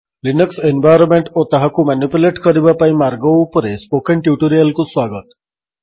Linux environment ଓ ତାହାକୁ manipulate କରିବା ପାଇଁ ମାର୍ଗ ଉପରେ ସ୍ପୋକେନ୍ ଟ୍ୟୁଟୋରିଆଲ୍ କୁ ସ୍ବାଗତ